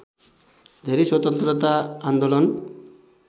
धेरै स्वतन्त्रता आन्दोलन